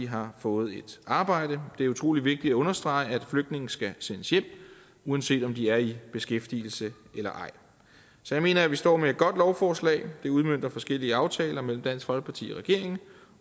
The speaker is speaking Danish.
har fået et arbejde det er utrolig vigtigt at understrege at flygtninge skal sendes hjem uanset om de er i beskæftigelse eller ej så jeg mener at vi står med et godt lovforslag det udmønter forskellige aftaler mellem dansk folkeparti og regeringen